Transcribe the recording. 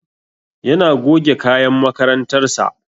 Yana goge kayan makarantar sa